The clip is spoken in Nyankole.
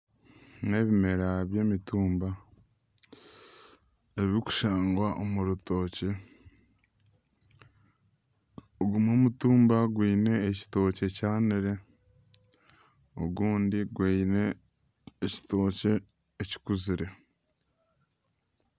Ebi nebimera by'emitumba, ebirikushangwa omu rutookye, ogu n'omutumba gwine ekitookye kyanire ogundi gwine ekitookye kikuzire .